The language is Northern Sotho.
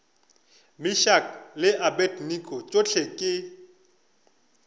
meshack le abednego tšohle ke